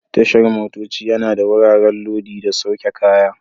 Tashar motoci yana da wuraren lodi da sauke kaya.